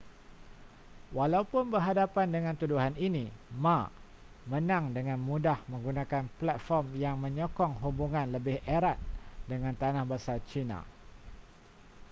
walaupun berhadapan dengan tuduhan ini ma menang dengan mudah menggunakan platform yang menyokong hubungan lebih erat dengan tanah besar china